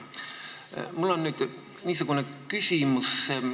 Mul on nüüd niisugune küsimus.